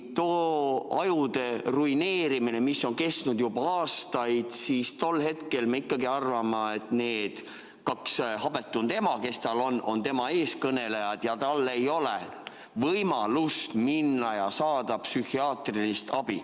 Too ajude ruineerimine on kestnud juba aastaid ja me ikkagi arvame, et need kaks habetunud ema, kes tal on, on tema eestkõnelejad, mistõttu ei ole tal võimalik minna ja saada psühhiaatrilist abi.